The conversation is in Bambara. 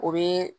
O bɛ